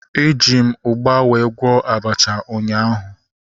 Eji m ugba were gwọọ abacha ụnyaahụ